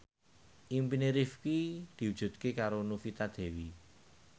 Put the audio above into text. impine Rifqi diwujudke karo Novita Dewi